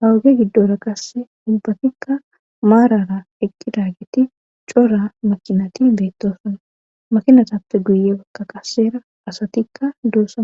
hawuge giddora qasse dubbatikka maarara eqqidagetti cora makinati beettosona makinatappe guye wakka qasera asatikka duusama